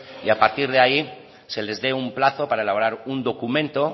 y a partir de ahí se les dé un plazo para elaborar un documento